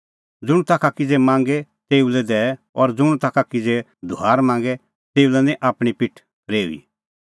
ज़ुंण ताखा किज़ै मांगे तेऊ लै दैऐ और ज़ुंण ताखा किज़ै धुआर मांगे तेऊ लै निं आपणीं पिठ फरेऊई